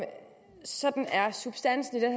sådan er substansen i den